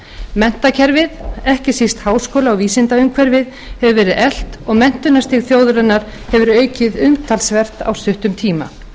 menntakerfið ekki síst háskóla og vísindaumhverfið hefur verið eflt og menntunarstig þjóðarinnar hefur aukist umtalsvert á stuttum tíma